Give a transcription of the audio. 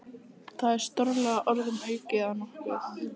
Það er stórlega orðum aukið að nokkuð.